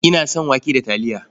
Ina son wake da taliya.